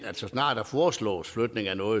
så snart der foreslås flygtning af noget